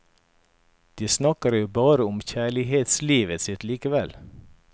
De snakker jo bare om kjærlighetslivet sitt likevel.